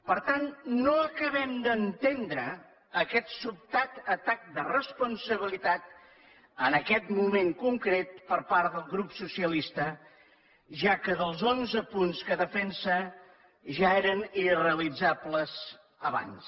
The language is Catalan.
per tant no acabem d’entendre aquest sobtat atac de responsabilitat en aquest moment concret per part del grup socialista ja que els onze punts que defensa ja eren irrealitzables abans